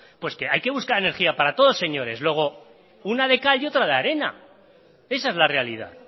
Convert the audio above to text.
pues que hay que buscar energía para todos señores luego una de cal y otra de arena esa es la realidad